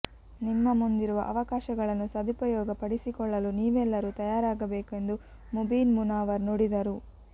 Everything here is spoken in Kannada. ನಿಮ್ಮ ಮುಂದಿರುವ ಅವಕಾಶ ಗಳನ್ನು ಸದುಪಯೋಗ ಪಡಿಸಿಕೊಳ್ಳಲು ನೀವೆಲ್ಲರೂ ತಯಾರಾಗಬೇಕೆಂದು ಮುಬೀನ್ ಮುನಾವರ್ ನುಡಿದರು